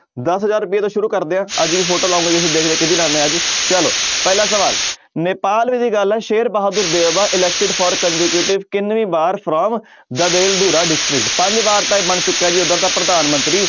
ਦਸ ਹਜ਼ਾਰ ਰੁਪਏ ਤੋਂ ਸ਼ੁਰੂ ਕਰਦੇ ਹਾਂ ਅੱਜ ਵੀ photo ਲਾਊਂਗਾ ਕਿਹਦੀ ਲਾਉਂਦੇ ਹਾਂ ਅੱਜ ਚਲੋ ਪਹਿਲਾ ਸਵਾਲ ਨੇਪਾਲ ਗੱਲ ਹੈ ਸ਼ੇਰ ਬਹਾਦਰ elected for ਕਿੰਨਵੀਂ ਵਾਰ from district ਪੰਜ ਵਾਰ ਤਾਂ ਇਹ ਬਣ ਚੁੱਕਾ ਜੀ ਉੱਧਰ ਦਾ ਪ੍ਰਧਾਨ ਮੰਤਰੀ।